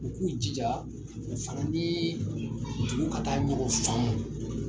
U k'u jija o fana ni dugu ka taa nɔgɔn faamu.